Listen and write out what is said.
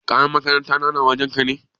Kayan makaranta na na wajen ka?